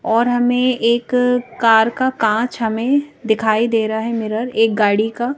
और हमें एक कार का कांच हमें दिखाई दे रहा है मिरर एक गाड़ी का --